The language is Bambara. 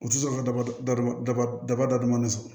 U tɛ sɔn ka daba da ma daba daba da duman na so